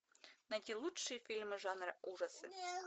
найти лучшие фильмы жанра ужасы